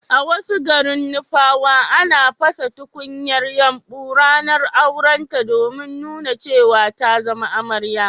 a wasu garin nupawa, ana pasa tunkuyar yumbu ranar aurenta domin nuna cewa ta zama amarya